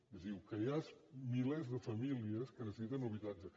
és a dir el que hi ha és milers de famílies que necessiten habitatge